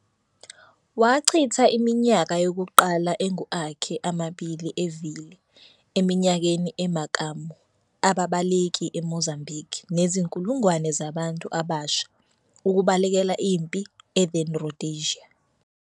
Wachitha iminyaka yokuqala engu akhe amabili evile eminyakeni emakamu ababaleki eMozambique nezinkulungwane zabantu abasha ukubalekela impi e then- Rhodesia.